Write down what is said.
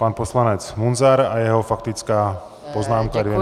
Pan poslanec Munzar a jeho faktická poznámka, dvě minuty.